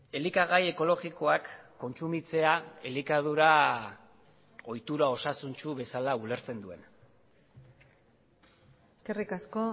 elikagai ekologikoak kontsumitzea elikadura ohitura osasuntsu bezala ulertzen duen eskerrik asko